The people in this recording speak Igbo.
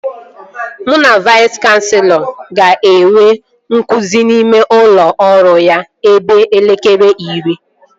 Mụ na Vais kanselọ ga-enwe nzukọ n'ime ụlọ ọrụ ya ebe elekere iri